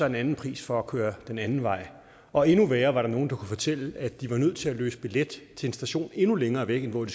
en anden pris for at køre den anden vej og endnu værre der var nogle der kunne fortælle at de var nødt til at løse billet til en station endnu længere væk end den